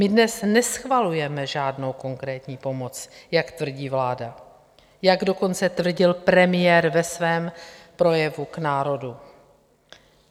My dnes neschvalujeme žádnou konkrétní pomoc, jak tvrdí vláda, jak dokonce tvrdil premiér ve svém projevu k národu.